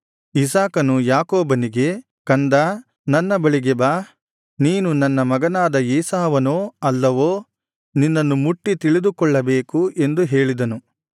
ಇಸಾಕನು ಯಾಕೋಬನಿಗೆ ಕಂದಾ ನನ್ನ ಬಳಿಗೆ ಬಾ ನೀನು ನನ್ನ ಮಗನಾದ ಏಸಾವನೋ ಅಲ್ಲವೋ ನಿನ್ನನ್ನು ಮುಟ್ಟಿ ತಿಳಿದುಕೊಳ್ಳಬೇಕು ಎಂದು ಹೇಳಿದನು